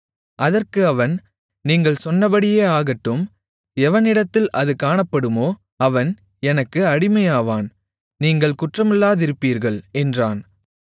அதற்கு அவன் நீங்கள் சொன்னபடியே ஆகட்டும் எவனிடத்தில் அது காணப்படுமோ அவன் எனக்கு அடிமையாவான் நீங்கள் குற்றமில்லாதிருப்பீர்கள் என்றான்